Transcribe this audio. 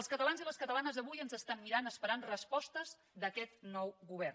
els catalans i les catalanes avui ens estan mirant esperant respostes d’aquest nou govern